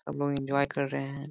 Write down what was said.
सब लोग एन्जॉय कर रहे हैं।